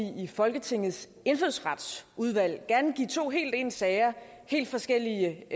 i folketingets indfødsretsudvalg gerne give to helt ens sager helt forskellige